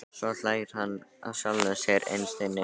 Svo hlær hann að sjálfum sér innst inni.